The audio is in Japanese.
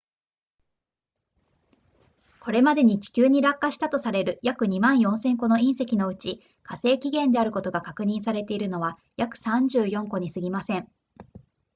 これまでに地球に落下したとされる約 24,000 個の隕石のうち火星起源であることが確認されているのは約34個にすぎません